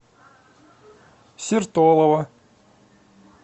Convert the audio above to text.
сертолово